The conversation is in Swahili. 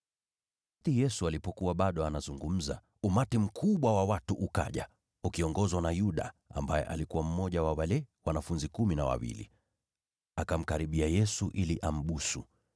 Yesu alipokuwa bado anazungumza, umati mkubwa wa watu ukaja. Uliongozwa na Yuda, ambaye alikuwa mmoja wa wale wanafunzi Kumi na Wawili. Akamkaribia Yesu ili ambusu.